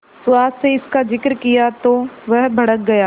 सुहास से इसका जिक्र किया तो वह भड़क गया